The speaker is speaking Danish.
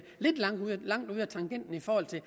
kommet lidt langt ud af tangenten i forhold til